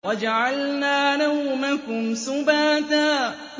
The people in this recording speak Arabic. وَجَعَلْنَا نَوْمَكُمْ سُبَاتًا